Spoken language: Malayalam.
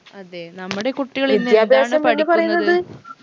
അതെ നമ്മടെ കുട്ടികൾ